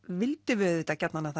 vildum við auðvitað gjarnan að